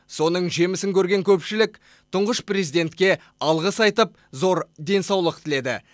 соның жемісін көрген көпшілік тұңғыш президентке алғыс айтып зор денсаулық тіледі